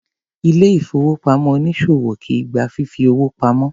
Ilé ìfowópamọ́ onísòwò kìí gba fífi owó pamo.